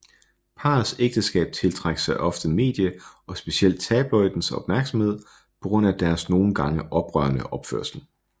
Parets ægteskab tiltrak sig ofte medie og specielt tabloidens opmærksomhed på grund af deres nogen gange oprørende opførsel